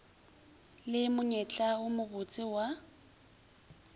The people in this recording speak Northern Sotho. le monyetla wo mobotse wa